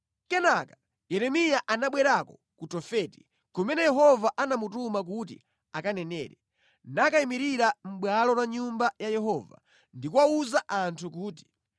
Kenaka Yeremiya anabwerako ku Tofeti, kumene Yehova anamutuma kuti akanenere, nakayimirira mʼbwalo la Nyumba ya Yehova ndi kuwawuza anthu kuti,